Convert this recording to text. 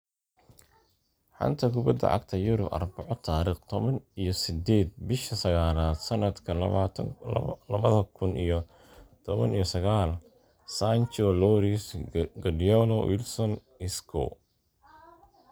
Xanta Kubadda Cagta Yurub Arbaco tariq toban iyo sideed bisha sagalaad samadka labada kun iyo toban iyo sagal: Sancho, Lloris, Guardiola, Wilson, Isco